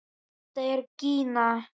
Þetta er Gína!